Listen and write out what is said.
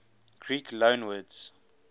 greek loanwords